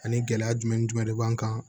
Ani gɛlɛya jumɛn ni jumɛn de b'an kan